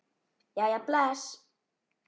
Jæja, bless